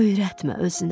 Öyrətmə özünə.